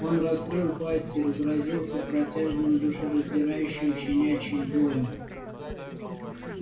он раскрыл пасть и разразился протяжным душераздирающим щенячьим воём